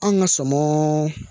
Anw ka sɔmɔ